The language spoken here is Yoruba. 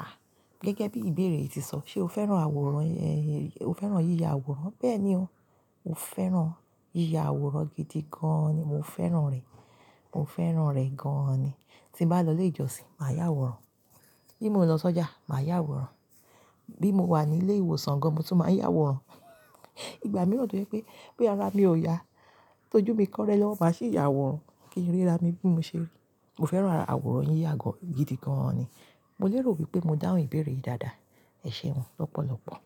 À, gẹ́gẹ́ bí ìbéèrè yìí ṣe sọ, ṣe o fẹ́ràn àwòrán, o fẹ́ràn yíya àwòrán? Bẹ́ẹ̀ ni o. Mo fẹ́ràn yíya àwòrán gidi gan ni. Mo fẹ́ràn rẹ. Mo fẹ́ràn rẹ gan ni. Tí n bá lọ ilé ìjọsìn, màá ya àwòrán. Bí mo ń lọ sọ́jà, màá ya àwòrán. Bí mo wà ní ilé ìwòsàn gan, mo tún máa ń ya àwòrán. Ìgbà mìíràn tó jẹ́ pé, bóyá ara mi ò ya, tọ́jú mi kọ́rẹ́ lọ́wọ́, màá sì ya àwòrán kí ń rí ra mi bí mo ṣe rí. Mo fẹ́ràn àwòrán yíyà gan gidi gan ni. Mo lérò wípé mo dáhùn ìbéèrè yìí dáadáa. Ẹ̀ṣẹ̀un lọ́pọ̀lọpọ̀.